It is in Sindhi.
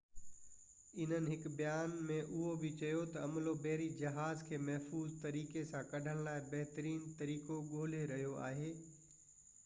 انهن هڪ بيان ۾ اهو بہ چيو تہ عملو بحري جهاز کي محفوظ طريقي سان ڪڍڻ لاءِ بهترين طريقو ڳولي رهيو آهي